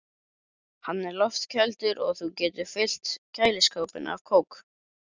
Hann er loftkældur og þú getur fyllt kæliskápinn af kók.